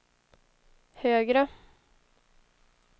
högre